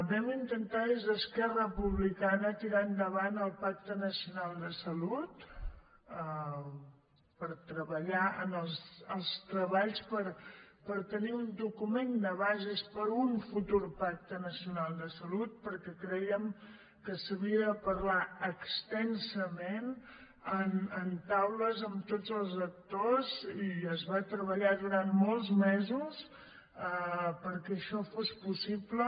vam intentar des d’esquerra republicana tirar endavant el pacte nacional de salut per treballar en els treballs per tenir un document de bases per a un futur pacte nacional de salut perquè crèiem que s’havia de parlar extensament en taules amb tots els actors i es va treballar durant molts mesos perquè això fos possible